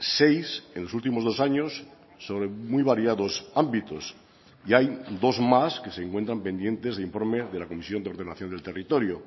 seis en los últimos dos años sobre muy variados ámbitos y hay dos más que se encuentran pendientes de informe de la comisión de ordenación del territorio